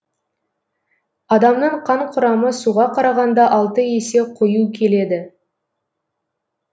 адамның қан құрамы суға қарағанда алты есе қою келеді